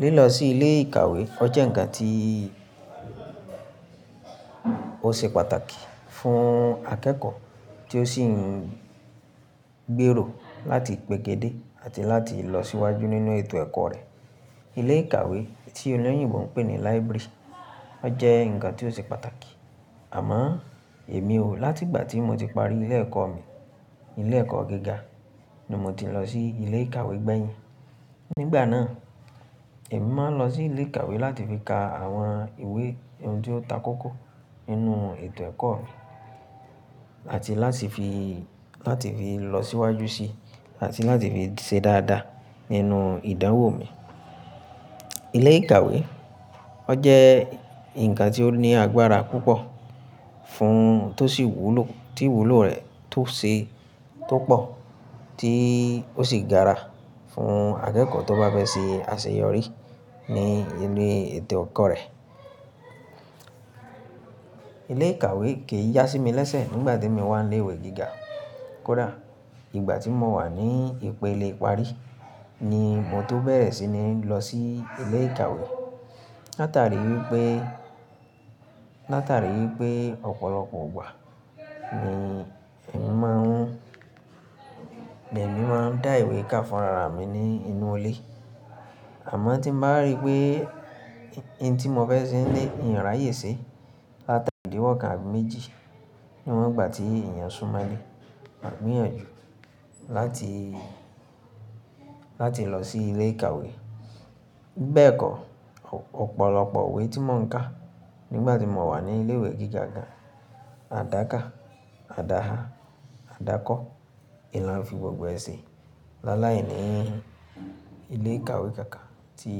Lílọ sí ilé ìkàwé ọ́ jẹ́ ǹkan tí ó ṣe pàtàkì fún akẹ́kọ̀ọ́ tí ó sì ń gbèrò láti pègédé àti láti lọ síwájú nínú ètò ẹ̀kọ́ rẹ̀. Ilé ìkàwé tí olóyìnbo ń pè ní library, ọ́ jẹ́ ǹkan tí ó ṣe pàtàkì. Àmọ́ èmi ò láti ìgbà tí mo ti parí ilé ẹ̀kọ́ mi, ilé ẹ̀kọ́ gíga ni mo ti lọ sí ilé ìkàwé gbẹ̀yìn. Nígbà náà, èmi máa ń lọ sí ilé ìkàwé láti fi ka àwọn ìwé ohun tí ó takókó nínú ètò ẹ̀kọ́ mi àti láti fi lọ síwájú sí àti láti fi ṣe dáadáa nínú ìdánwò mi. Ilé ìkàwé ọ́ jẹ́ ǹkan tí ó ní agbára púpọ̀ fún tó sì wúlò tí ìwúlò rẹ̀ tó se tó pọ̀ tí ó sì gaara fún akẹ́kọ̀ọ́ tó bá fẹ́ ṣe àṣeyọrí ní ilé ètò ẹ̀kọ́ rẹ̀. Ilé ìkàwé kì í yá sí mi lẹ́sẹ̀ nígbà tí èmi wà ní ilé ìwé gíga. Kódà ìgbà tí mo wà ní ìpele ìparí ni mo tó bẹ̀rẹ̀ sí ní lọ sí ilé ìkàwé. Látàrí i pé ọ̀pọ̀lọpọ̀ ìgbà ni èmi máa ń dá ìwé ká fún rara mi nínú ilé. Àmọ́ tí mo bá rí pé oun tí mo fẹ́ ṣe nílé ǹ rí àyè sé láti ara ìdíwọ́ kan àbí méjì níwọ́n ìgbà tí èèyàn ń súnmọ́ lé, màá gbìyànjú láti lọ sí ilé ìkàwé. Bẹ́ẹ̀ kọ́ ọ̀pọ̀lọpọ̀ ìwé tí mò ń ka nígbà tí mo wà ní ilé ìwé gíga gan, àdáka, àdáha, àdákọ, n la ń fi gbogbo ẹ se lala ìní ilé ìkàwé kankan tí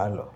a lọ.